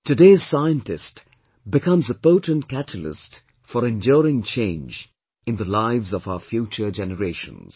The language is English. Today's scientist becomes a potent catalyst for enduring change in the lives of our future generations